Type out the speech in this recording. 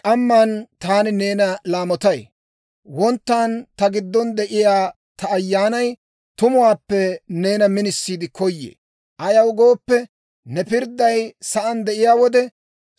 K'amman taani neena laamotay; Wonttan ta giddon de'iyaa ta ayyaanay, tumuwaappe neena minisiide koyee. Ayaw gooppe, ne pirdday sa'aan de'iyaa wode,